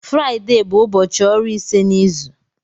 Fraịde bụ ụbọchị ọrụ ise n'izu.